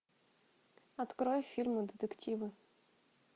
открой фильмы детективы